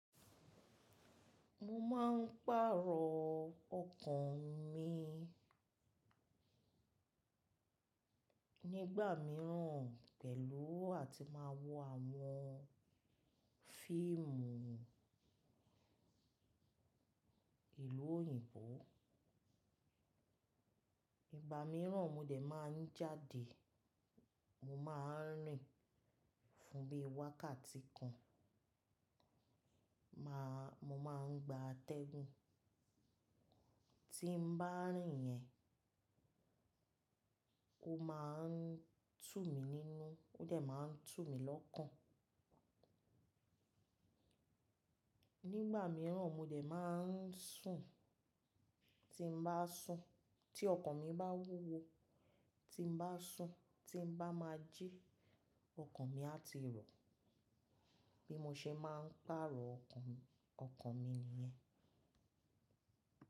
Mo máa ń pàrọ̀ ọkàn mi nígbà mìíràn pẹ̀lú àti máa wo àwọn fíìmù ìlú òyìnbó. Ìgbà mìíràn mo dẹ̀ máa ń jáde, mo máa ń rìn fún bí i wákàtí kan, màá-- mo máa ń gba atẹ́gùn. Tí n bá rìn yẹn, ó máa ń tú mi nínú, ó dẹ̀ máa ń tú mi lọ́kàn. Nígbà mìíràn, mo dẹ̀ máa ń sùn, tí n bá sùn, tí ọkàn mi bá wúwo, tí n bá sùn, tí n bá máa jí, ọkàn mi á ti rọ̀. Bí mo ṣe máa ń pàrọ̀ ọkàn, ọkàn mi nìyẹn.